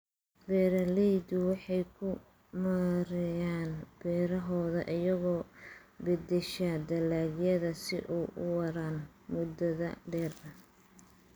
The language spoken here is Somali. Beeraleydu waxay ku maareeyaan beerahooda iyagoo beddesha dalagyada si ay u waaraan muddada dheer.